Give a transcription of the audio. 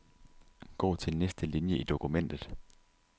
Gå til næste linie i dokumentet.